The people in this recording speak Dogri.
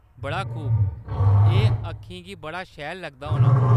बड़ा खूब ! एह्‌‌ अक्खें गी बड़ा शैल लगदा होना।